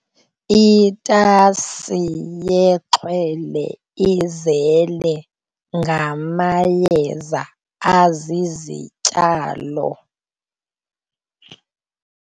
Itasi yexhwele izele ngamayeza azizityalo.